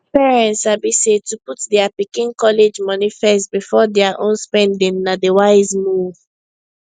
parents sabi say to put dia pikin college money first before dia own spending na di wise move